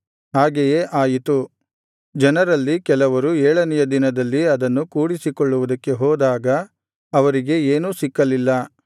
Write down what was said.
ಹಾಗೆಯೇ ಆಯಿತು ಜನರಲ್ಲಿ ಕೆಲವರು ಏಳನೆಯ ದಿನದಲ್ಲಿ ಅದನ್ನು ಕೂಡಿಸಿಕೊಳ್ಳುವುದಕ್ಕೆ ಹೋದಾಗ ಅವರಿಗೆ ಏನೂ ಸಿಕ್ಕಲಿಲ್ಲ